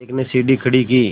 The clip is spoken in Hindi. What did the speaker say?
एक ने सीढ़ी खड़ी की